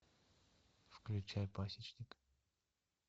включай пасечник